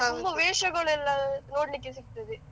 ತುಂಬಾ ವೇಷಗಳೆಲ್ಲ ನೋಡ್ಲಿಕ್ಕೆ ಸಿಗ್ತದೆ.